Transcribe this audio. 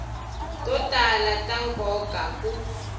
to tala ta nkoka ku